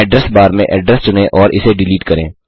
address bar में address चुनें और इसे डिलीट करें